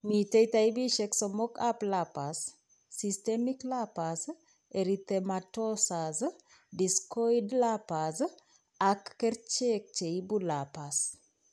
Miten taipisiek somok ab lupus ;systemic lupus erythematosus, discoid lupus, ak kercheek cheipu lupus